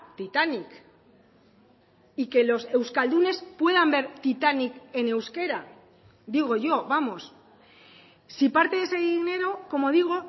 titanic y que los euskaldunes puedan ver titanic en euskera digo yo vamos si parte de ese dinero como digo